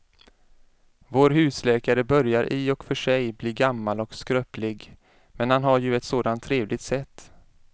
Vår husläkare börjar i och för sig bli gammal och skröplig, men han har ju ett sådant trevligt sätt!